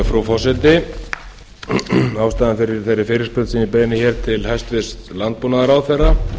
frú forseti ástæðan fyrir þeirri fyrirspurn sem ég beini til hæstvirts landbúnaðarráðherra